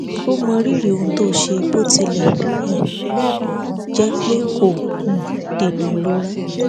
ó mọrírì ohun tó ṣe bó tilẹ um jẹ pé kò um dènà ìrora